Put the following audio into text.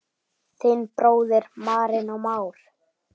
Þinn bróðir, Marinó Már.